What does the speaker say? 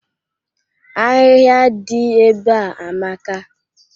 Ahịhịa dị ebea amaka.